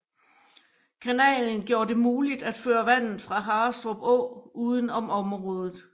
Kanalen gjorde det muligt at føre vandet fra Harrestrup Å uden om området